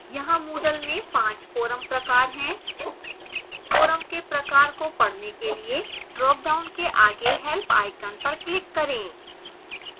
यहाँ moodle में 5 forum प्रकार है forums के प्रकार को पढ़ने के लिए dropdown के आगे help icon पर click करें